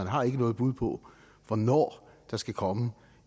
har noget bud på hvornår der skal komme